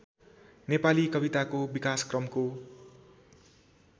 नेपाली कविताको विकासक्रमको